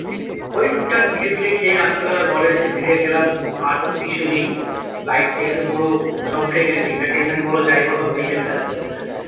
ওই টুকটাক পিঠে ফিটে খেয়ে রাত্রি বেলা ঘরে এসে পিঠে খেলাম আর তো কিছু নেই life থেকে তো পুরো সব উঠে গেছে entertainment বলো যাই বলো উঠেই যাচ্ছে আস্তে আস্তে,